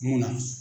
Mun na